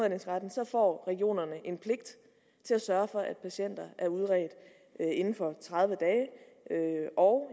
og regionerne en pligt til at sørge for at patienter er udredt inden for tredive dage og